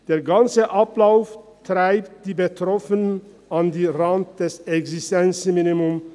Der ganze Ablauf treibt die Betroffenen an den Rand des Existenzminimums.